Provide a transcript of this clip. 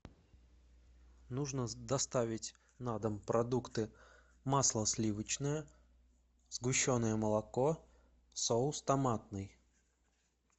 нужно доставить на дом продукты масло сливочное сгущенное молоко соус томатный